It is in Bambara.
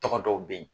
Tɔgɔ dɔw bɛ yen